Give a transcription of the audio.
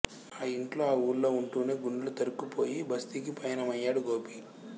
ఆ యింట్లో ఆ వూళ్ళో వుంటేనే గుండెలు తరుక్కుపోయి బస్తీకి ప్రయాణమయ్యాడు గోపి